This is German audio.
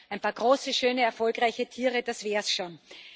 Ein paar große, schöne, erfolgreiche Tiere, das wäre es schon.